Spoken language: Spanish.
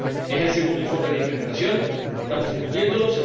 Es el segundo informe de implementación estamos debatiéndolo